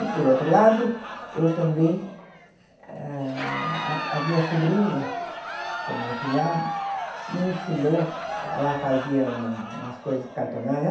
E, por outro lado, eu também... A a a minha sobrinha, que é a minha afilhada, me ensinou... Ela fazia um umas coisas.